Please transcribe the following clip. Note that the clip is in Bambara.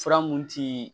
Fura mun ti